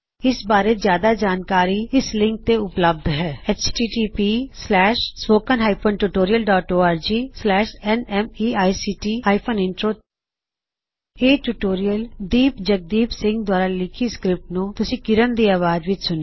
ਇਸ ਬਾਰੇ ਜਿਆਦਾ ਜਾਣਕਾਰੀ ਇਸ ਲਿੰਕ ਤੇ ਉਪਲਬੱਧ ਹੈ httpspoken tutorialorgNMEICT Intro ਇਹ ਟਿਊਟੋਰਿਅਲ ਦੀਪ ਜਗਦੀਪ ਸਿੰਘ ਦੁਆਰਾ ਲਿਖੀ ਸਕ੍ਰਿਪਟ ਨੂੰ ਤੁਸੀ ਕਿਰਣ ਦੀ ਆਵਾਜ਼ ਵਿਚ ਸੁਣਿਆ